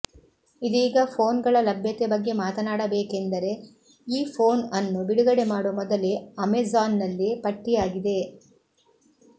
ಇದೀಗ ಫೋನ್ಗಳ ಲಭ್ಯತೆ ಬಗ್ಗೆ ಮಾತನಾಡಬೇಕೆಂದರೆ ಈ ಫೋನ್ ಅನ್ನು ಬಿಡುಗಡೆ ಮಾಡುವ ಮೊದಲೇ ಅಮೆಜಾನ್ನಲ್ಲಿ ಪಟ್ಟಿಯಾಗಿದೆ